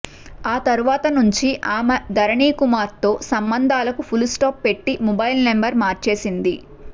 ఆ తరువాత నుంచి ఆమె ధరణీకుమార్తో సంబంధాలకు ఫుల్స్టాఫ్ పెట్టి మొబైల్ నంబర్ మార్చేసింది